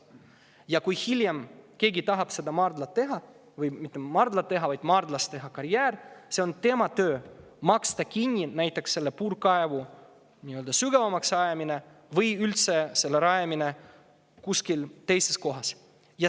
Ja kui hiljem keegi tahab selles maardlas teha karjääri, siis on tema töö maksta kinni näiteks puurkaevu sügavamaks tegemine või üldse selle rajamine kuskil teises kohas.